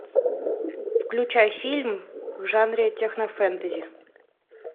включай фильм в жанре технофэнтези